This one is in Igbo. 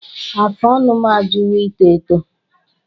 Afụ ọnụ m ajụwo ito eto